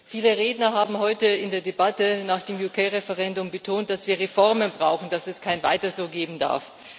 Viele Redner haben heute in der Debatte nach dem britischen Referendum betont, dass wir Reformen brauchen, dass es kein Weiterso geben darf.